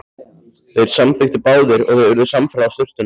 Þeir samþykktu báðir og þau urðu samferða að sturtunum.